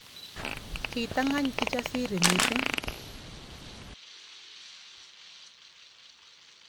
Kitangany Kijasiri missing